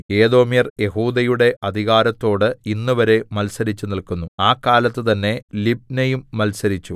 ഏദോമ്യർ യെഹൂദയുടെ അധികാരത്തോട് ഇന്നുവരെ മത്സരിച്ചു നില്ക്കുന്നു ആ കാലത്ത് തന്നെ ലിബ്നയും മത്സരിച്ചു